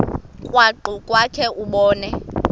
krwaqu kwakhe ubone